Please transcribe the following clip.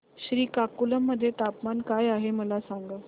श्रीकाकुलम मध्ये तापमान काय आहे मला सांगा